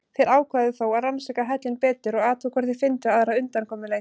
Þeir ákváðu þó að rannsaka hellinn betur og athuga hvort þeir fyndu aðra undankomuleið.